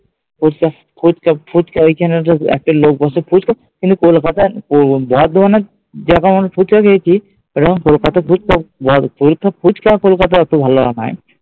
ফুচকা ফুচকা ফুচকা এইখানে তো একটা লোক বসে ফুচকা কিন্তু কলকাতা বর্ধমানে জেরকম আমি ফুছকা খেয়েছি, এখানে কলকাতার ফুচকা ওইটুকু ফুচকা কলকাতায় অতো ভালো হয়না।